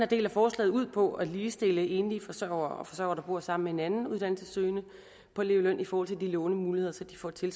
del af forslaget ud på at ligestille enlige forsørgere og forsørgere der bor sammen med en anden uddannelsessøgende på elevløn i forhold til lånemuligheder så de får de